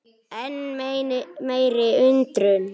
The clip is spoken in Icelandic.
Enn meiri undrun